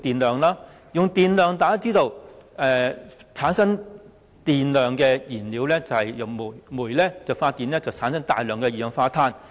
大家亦知道，發電的燃料是煤，而煤發電產生大量二氧化碳。